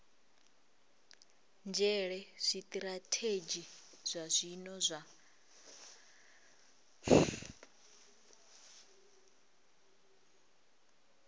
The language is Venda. nzhele zwitirathedzhi zwa zwino zwa